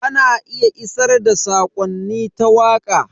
Ana iya isar da sakonni ta waka.